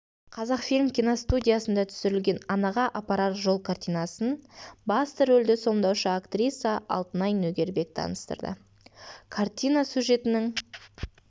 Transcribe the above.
қазақфильм киностудиясында түсірілген анаға апарар жол кинокартинасын басты рөлді сомдаушы актриса алтынай нөгербек таныстырды картина сюжетінің